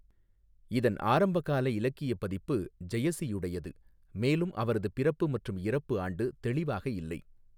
இதன் ஆரம்ப கால இலக்கிய பதிப்பு ஜெயசியுடையது, மேலும் அவரது பிறப்பு மற்றும் இறப்பு ஆண்டு தெளிவாக இல்லை.